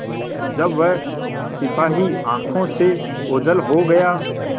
जब वह सिपाही आँखों से ओझल हो गया